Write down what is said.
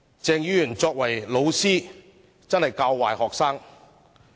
鄭議員作為老師，真是學生的壞榜樣。